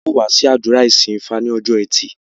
Á ó wá sí àdúrà ìsìn ifá ní ọjọ́ ẹtì